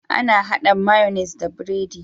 Ana hada mayonnaise da biredi